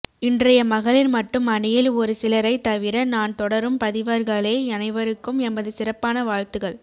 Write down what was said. இன்றைய மகளிர் மட்டும் அணியில் ஒரு சிலரைத் தவிற நான் தொடரும் பதிவர்களே அனைவருக்கும் எமது சிறப்பான வாழ்த்துகள்